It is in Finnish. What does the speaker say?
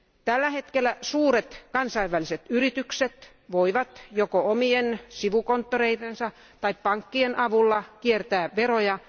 Tällä hetkellä suuret kansainväliset yritykset voivat joko omien sivukonttoreidensa tai pankkien avulla kiertää veroja.